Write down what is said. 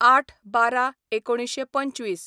०८/१२/१९२५